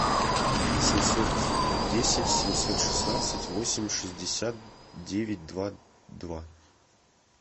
семьсот десять семьсот шестнадцать восемь шестьдесят девять два два